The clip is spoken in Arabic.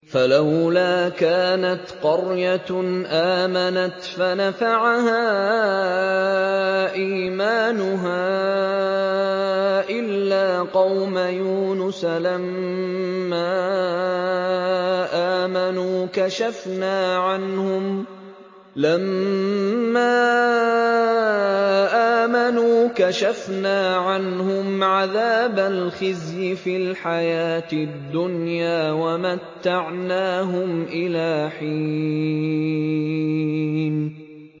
فَلَوْلَا كَانَتْ قَرْيَةٌ آمَنَتْ فَنَفَعَهَا إِيمَانُهَا إِلَّا قَوْمَ يُونُسَ لَمَّا آمَنُوا كَشَفْنَا عَنْهُمْ عَذَابَ الْخِزْيِ فِي الْحَيَاةِ الدُّنْيَا وَمَتَّعْنَاهُمْ إِلَىٰ حِينٍ